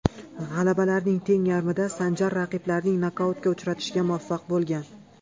G‘alabalarining teng yarmida Sanjar raqiblarini nokautga uchratishga muvaffaq bo‘lgan.